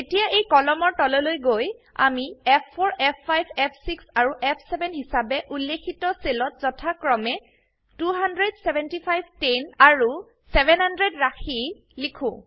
এতিয়া এই কলমৰ তললৈ গৈ আমি ফ4 ফ5 ফ6 আৰু F7 হিসাবে উল্লিখিত সেলত যথাক্ৰমে 200 75 10 আৰু700 ৰাশি লিখো